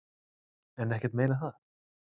En ekkert meira en það.